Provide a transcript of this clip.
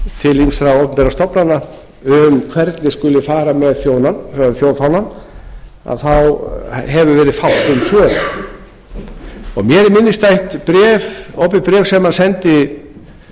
til ýmissa opinberra stofnana um hvernig skuli fara með þjóðfánann þá hefur verið fátt um svör mér er minnisstætt opið bréf sem hann sendi